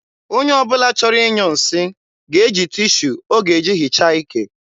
onye ọ bụla chọrọ ịnyụ nsị ga-eji tishu ọ ga-eji hichaa ike.